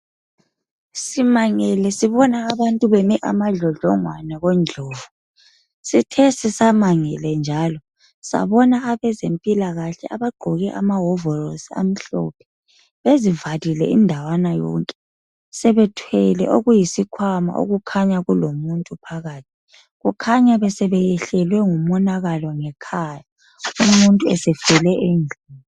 Simangele sibona abantu beme amadlodlongwane koNdlovu. Sithe sisamangele njalo sabona abezempilakahle abagqoke amaworosi amhlophe bezivalile indawana yonke. Sebethwele okuyisikhwama okukhanya kulomuntu phakathi. Kukhanya besebeyehlelwe ngumonakalo ngekhaya, umuntu esefele endlini.